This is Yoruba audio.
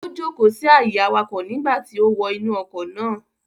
Ó jókọ̀ọ́ sí àyè awakọ̀ nígbà tí ó wọ inú ọkọ̀ náà